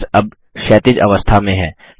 text अब क्षैतिज अवस्था में है